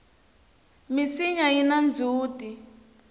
minsinya yina ndzhuti